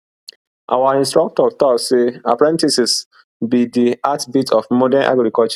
our instructor talk say apprentices be the heartbeat of modern agriculture